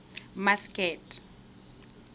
masked